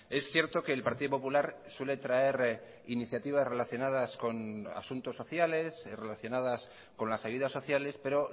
es cierto que el partido popular suele traer iniciativas relacionadas con asuntos sociales relacionadas con las ayudas sociales pero